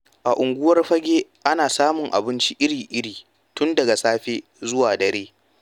A unguwar Fagge ana samun abinci iri-iri tun daga safe zuwa dare.